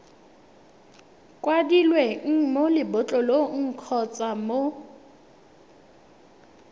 kwadilweng mo lebotlolong kgotsa mo